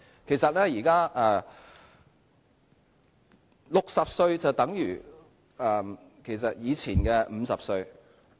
其實現在60歲便等於以前的50歲。